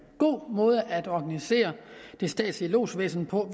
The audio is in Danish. god måde at organisere det statslige lodsvæsen på